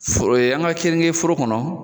Foro ye an ka keninge foro kɔnɔ.